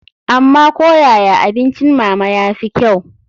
Amma ko yaya abincin mama ya fi kyau.